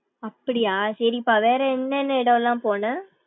அப்படியா சரிப்பா வேற என்ன என்ன இடம்லாம் போன.